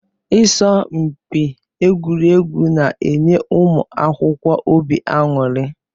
Isọmpi egwuregwu na-enye ụmụ akwụkwọ óbị aṅụri